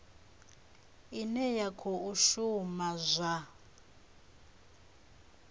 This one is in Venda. ine ya khou shuma zwa